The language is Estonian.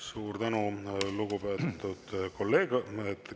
Suur tänu, lugupeetud kolleeg!